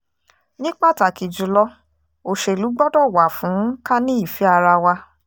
ní pàtàkì jù lọ òṣèlú gbọ́dọ̀ wà fún ká ní ìfẹ́ ara wa